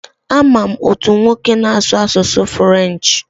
A ma m otu nwoke na-asụ asụsụ furenchi.